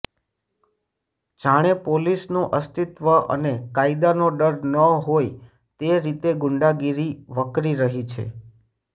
જાણે પોલીસનું અસ્તિત્વ અને કાયદાનો ડર ન હોઈ તે રીતે ગુંડાગીરી વકરી રહી છે